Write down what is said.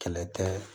Kɛlɛ tɛ